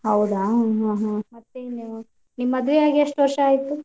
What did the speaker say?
ಹೌದಾ ಹಾ ಹಾ. ನಿಮ್~ ನಿಮ್ಮ್ ಮದ್ವೆ ಆಗಿ ಎಷ್ಟ್ ವರ್ಷಾ ಆಯ್ತ್?